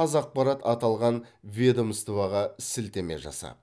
қазақпарат аталған ведомствоға сілтеме жасап